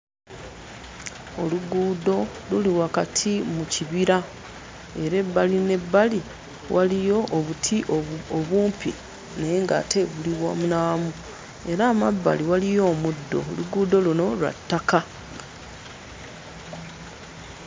Oluguudo luli wakati mu kibira era ebbali n'ebbali waliyo obuti obu obumpi naye ng'ate buli wamu na wamu era amabbali waliyo omuddo. Oluguudo luno lwa ttaka.